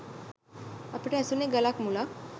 අපට ඇසුණේ ගලක් මුලක්